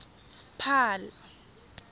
paarl